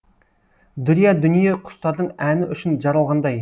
дүрия дүние құстардың әні үшін жаралғандай